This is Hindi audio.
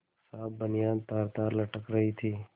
साफ बनियान तारतार लटक रही थी